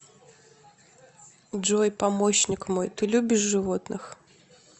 джой помощник мой ты любишь животных